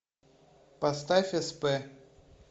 поставь сп